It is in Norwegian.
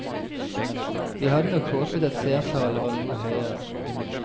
Vi hadde nok håpet at seertallene var noe høyere.